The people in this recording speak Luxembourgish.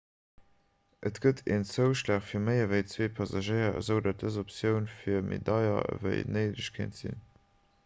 et gëtt en zouschlag fir méi ewéi 2 passagéier esoudatt dës optioun méi deier ewéi néideg kéint sinn